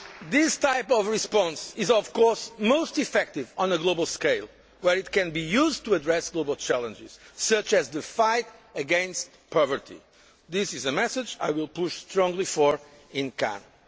society. This type of response is of course most effective on a global scale, where it can be used to address global challenges such as the fight against poverty. This is a message I will push strongly for in